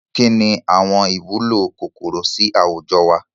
Kínní ìwúlò àwọn kòkòrò sì àwùjọ wá?